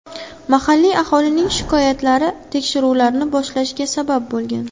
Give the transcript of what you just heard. Mahalliy aholining shikoyatlari tekshiruvlarni boshlashga sabab bo‘lgan.